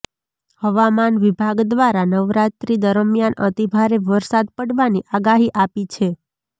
હવામાન વિભાગ દ્વારા નવરાત્રિ દરમિયાન અતિભારે વરસાદ પડવાની આગાહી આપી છે